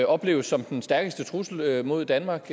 opleves som den stærkeste trussel mod danmark